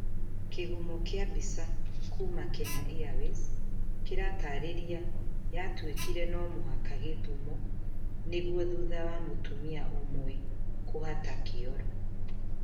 Kihumo kia mbica kuma kenya airways kĩratariria yatuĩkire no mũhaka Gĩthumo nĩguo thutha wa mũtumia ũmwe hũhata kĩoro